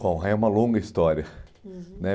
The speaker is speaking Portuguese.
Bom, é uma longa história. Uhum.